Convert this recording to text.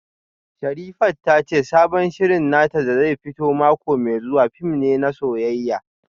Sherifat ta ce sabon shirin nata da zai fito mako mai zuwa fim ne na soyayya